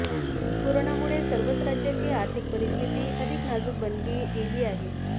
कोरोनामुळे सर्वच राज्याची आर्थिक परिस्थिती अधिक नाजूक बनली गेली आहे